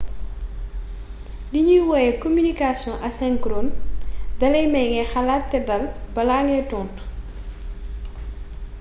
li ñuy woowe communication asynchrone dalay may ngay xalaat te dal balaa ngay tontu